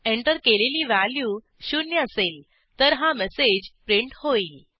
enter केलेली value शून्य असेल तर हा मेसेज प्रिंट होईल